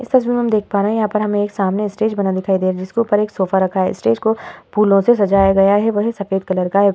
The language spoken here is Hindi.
इस तस्वीर में हम देख पा रहे हैं यहाँ पर हमें सामने एक स्टेज बना दिखाई दे जिसके ऊपर एक सोफ़ा रखा है। स्टेज को फूलों से सजाया गया है। वह है सफ़ेद कलर का है।